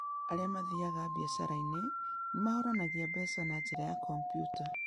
Arĩa mathiaga biacara-inĩ nĩ mahũranagia mbeca na njĩra ya kompiuta.